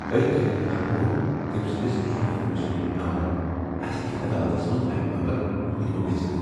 أکۍ خریدارن وون تٔمۍ سندِس اِیر فونس ہیوتُن نار ۔ اسہِ ہیكہِ عدالتس منز امہِ باپت مقدِمہٕ گژھِتھ ۔